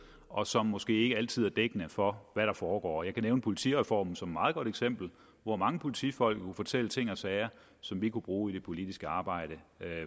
og som måske ikke altid er dækkende for hvad der foregår jeg kan nævne politireformen som et meget godt eksempel hvor mange politifolk kunne fortælle ting og sager som vi kunne bruge i det politiske arbejde